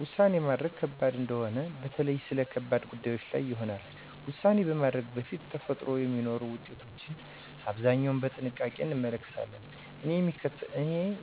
ውሳኔ ማድረግ ከባድ እንደሆነ በተለይ ስለ ከባድ ጉዳዮች ላይ ይሆናል። ውሳኔ ከማድረግ በፊት ተፈጥሮ የሚኖሩ ውጤቶችን አብዛኛው በጥንቃቄ እንመለከታለን። እኔ